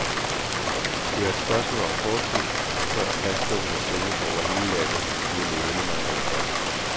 Det er et spørgsmål om kort tid, før plastdunkene sælges over hele landet, siger ledende mejerifolk.